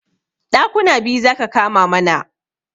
Ɗakuna biyu zaka kama mana